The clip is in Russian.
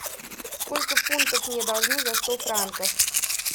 сколько фунтов мне должны за сто франков